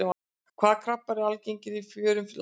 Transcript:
Hvaða krabbar eru algengir í fjörum landsins?